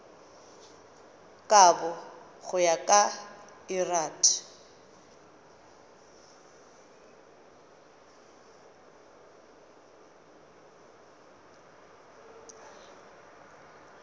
kabo go ya ka lrad